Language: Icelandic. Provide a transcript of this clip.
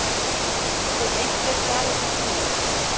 Veit einhver svarið við því???????